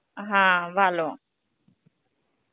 হ্যাঁ, ভালো.